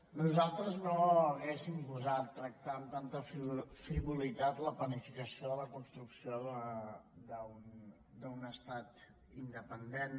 nosaltres no hauríem gosat tractar amb tanta frivolitat la planificació de la construcció d’un estat independent